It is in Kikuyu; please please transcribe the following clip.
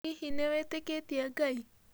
Hihi nĩ wĩtĩkĩtĩe Ngai?